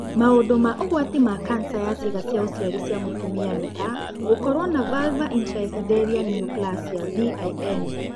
Maũndu ma ũgwati ma kanca ya ciĩga cia ũciari cia mũtumia nĩ ta :gũkoruo na vulvar intraepithelial neoplasia (VIN)